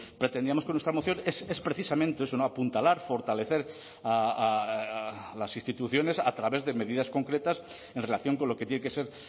pretendíamos con nuestra moción es precisamente eso apuntalar fortalecer a las instituciones a través de medidas concretas en relación con lo que tiene que ser